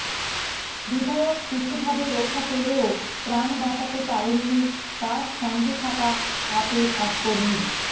বিধায়ক কিছুভাবে রক্ষা পেলেও প্রাণ বাঁচাতে পারেননি তাঁর সঙ্গে থাকা আপের এক কর্মী